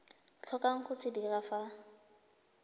tlhokang go se dira fa